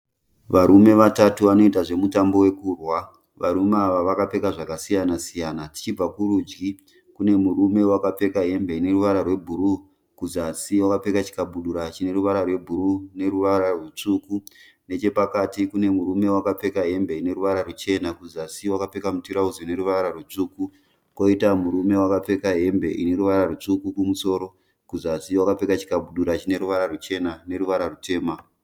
Varume vatatu vanoita zvemutambo wekurwa. Varume ava vakapfeka zvakasiyana siyana. Tichibva kurudyi kune murume wakapfeka hembe ine ruvara rwebhuru kuzasi wakapfeka chikabudura chine ruvara rwebhuru neruvara rutsvuku. Nechepakati kune murume wakapfeka hembe ine ruvara ruchena kuzasi wapfeka mutirauzi une ruvara rutsvuku. Koita murume wakapfeka hembe ine ruvara rutsvu kumusoro kuzasi wakapfeka chikabudura chine ruvara ruchena neruvara rutema.